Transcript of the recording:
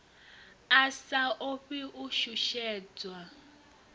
a sa ofhi u shushedzwa